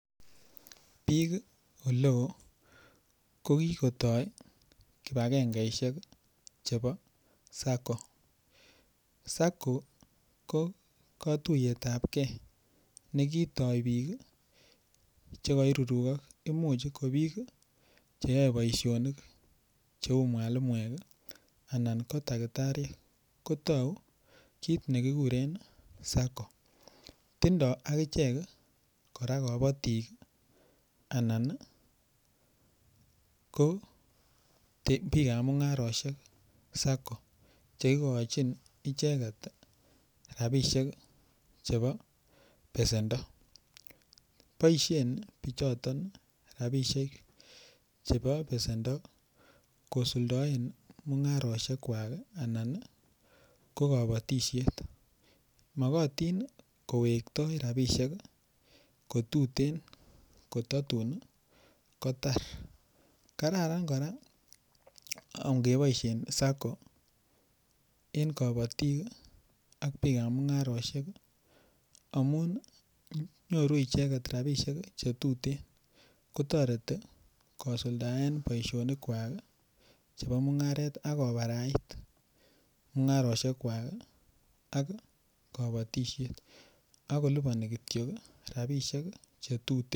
biik oleo kokikotoi kipakengeisiek cheno SACCO, SACCO kotuiyetapge nekitoi biik ii chekoiruruko imuch ko biik cheyoe boisionik cheu mwalimuek ii anan ko daktariek kotou kit nekikuren SACCO tindoo agichek kora kobotik anan koo biikab mung'arosiek SACCO cheikochin icheket ii rapisiek chebo besendoo, boisien biichoton rapisiek chebo besendoo kosuldoen mung'arosiekwak anan ii ko kobotisiet, mokotin kowektoo rapisiek kotuten kototun kotar kararan kora angeboisien SACCO en kobotik ak biikab mung'arosiek amun nyoru icheket rapisiek che tuten kotoret kosuldaen boisionikwak ii chebo mung'aret akobarait mung'arosiekwak ak kobotisiet akolipani kityok rapisiek che tuten .